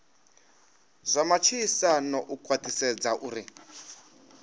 zwa matshilisano u khwathisedza uri